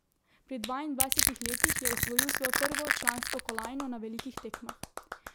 Pri dvaindvajsetih letih je osvojil svojo prvo člansko kolajno na velikih tekmah.